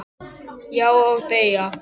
Já, og deyja